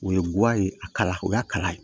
O ye guwan ye a kala o y'a kala ye